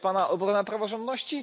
To jest Pana obrona praworządności?